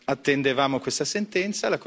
attendevamo questa sentenza.